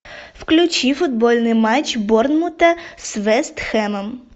включи футбольный матч борнмута с вест хэмом